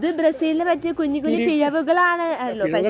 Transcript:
അത് ബ്രസീലിനു പറ്റിയ കുഞ്ഞു കുഞ്ഞു പിഴവുകളാണല്ലോ. പക്ഷേ